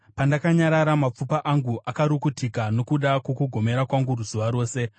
Pandakanyarara, mapfupa angu akarukutika nokuda kwokugomera kwangu zuva rose.